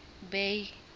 bay